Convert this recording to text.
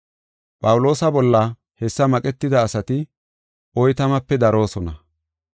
Phawuloosa bolla hessa maqetida asati oytamape daroosona.